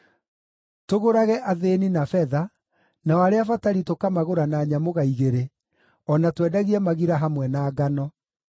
tũgũrage athĩĩni na betha, nao arĩa abatari tũkamagũra na nyamũga igĩrĩ, o na twendagie magira hamwe na ngano.”